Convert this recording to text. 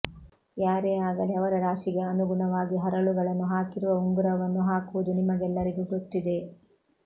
ಯಾರೇ ಆಗಲಿ ಅವರ ರಾಶಿಗೆ ಅನುಗುಣವಾಗಿ ಹರಳುಗಳನ್ನು ಹಾಕಿರುವ ಉಂಗುರವನ್ನು ಹಾಕುವುದು ನಿಮಗೆಲ್ಲರಿಗೂ ಗೊತ್ತಿದೆ